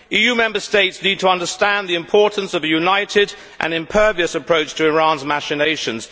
EU Member States need to understand the importance of a united and impervious approach to Iran's machinations.